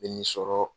Bɛ nin sɔrɔ